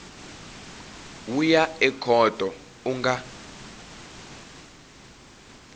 wu ya ekhoto u nga